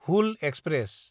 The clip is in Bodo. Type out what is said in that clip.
हूल एक्सप्रेस